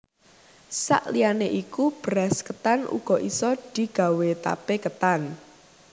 Sak liyane iku beras ketan uga isa digawé tape ketan